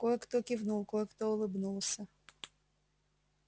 кое-кто кивнул кое-кто улыбнулся